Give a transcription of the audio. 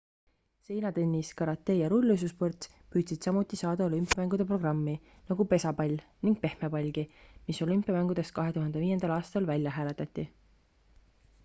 seinatennis karate ja rulluisusport püüdsid samuti saada olümpiamängude programmi nagu pesapall ning pehmepallgi mis olümpiamängudest 2005 aastal välja hääletati